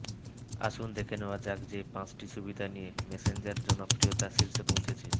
আসুন দেখে নেওয়া যাক যে পাঁচটি সুবিধা দিয়ে মেসেঞ্জার জনপ্রিয়তার শীর্ষে পৌঁছেছে